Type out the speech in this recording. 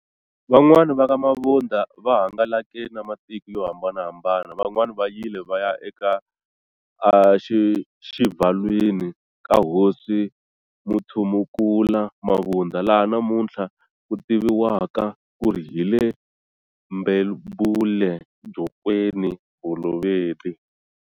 Van'wani vaka Mabunda va hangalake na matiko yo hambanahambana, vanwani vayile vaya aka a xivhalwini ka hosi Mutshumukulu Mabunda laha namuthla kutiviwaka kuri hile Mbebule-jokweni bolobedi.